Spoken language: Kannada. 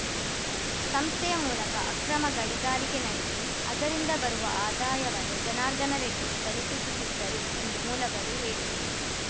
ಸಂಸ್ಥೆಯ ಮೂಲಕ ಅಕ್ರಮ ಗಣಿಗಾರಿಕೆ ನಡೆಸಿ ಅದರಿಂದ ಬರುವ ಆದಾಯವನ್ನು ಜನಾರ್ದನ ರೆಡ್ಡಿಗೆ ತಲುಪಿಸುತ್ತಿದ್ದರು ಎಂದು ಮೂಲಗಳು ಹೇಳಿವೆ